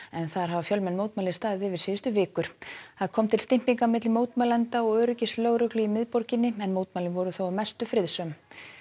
en þar hafa fjölmenn mótmæli staðið síðustu vikur það kom til milli mótmælenda og öryggislögreglu í miðborginni en mótmælin voru þó að mestu friðsöm